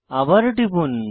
আবার টিপুন